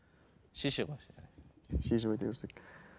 шеше ғой шешіп өте берсек